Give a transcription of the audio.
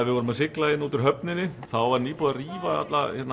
við vorum að sigla hérna út úr höfninni þá var nýbúið að rífa